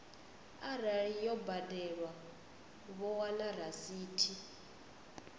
arali yo badelwa vho wana rasithi